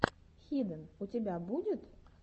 хиден у тебя будет